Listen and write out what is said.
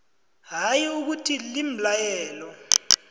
hayi ukuthi limlayelo